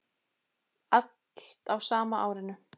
Allt á sama árinu.